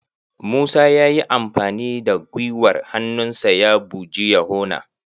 Musa ya yi amfani da gwiwar hannunsa ya buji yohana.